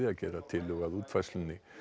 að gera tillögu að útfærslunni